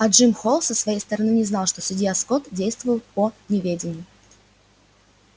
а джим холл со своей стороны не знал что судья скотт действовал по неведению